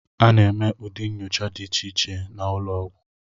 A na-eme ụdị nnyocha dị iche iche n'ụlọọgwụ